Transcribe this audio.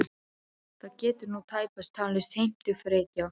Það getur nú tæpast talist heimtufrekja.